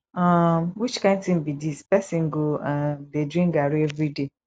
um which kin thing be dis person go um dey drink garri everyday